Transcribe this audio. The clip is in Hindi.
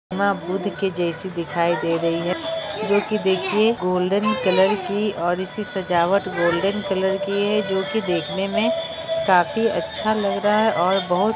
वा बुद्ध के जेसी दिखाय दे रही है जो की देखिऐ गोल्डन कलर की और इसी सजावट गोल्डन कलर की है जो की देखने में काफी अच्छा लग रहा है और बहुत--